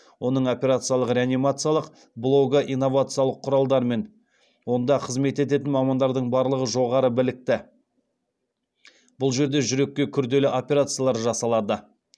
оның операциялық реанимациялық блогы инновациялық құралдармен онда қызмет ететін мамандардың барлығы жоғары білікті бұл жерде жүрекке күрделі операциялар жасалады